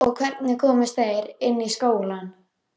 Og hvernig komust þeir inn í skólann?